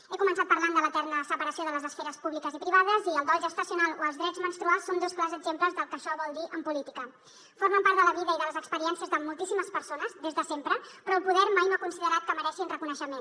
he començat parlant de l’eterna separació de les esferes públiques i privades i el dol gestacional o els drets menstruals són dos clars exemples del que això vol dir en política formen part de la vida i de les experiències de moltíssimes persones des de sempre però el poder mai no ha considerat que mereixin reconeixement